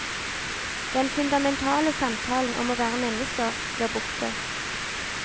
Den fundamentale samtalen om å være menneske blir borte.